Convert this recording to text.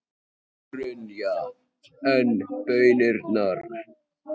Brynja: En baunirnar?